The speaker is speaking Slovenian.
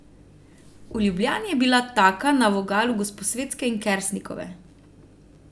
V Ljubljani je bila taka na vogalu Gosposvetske in Kersnikove.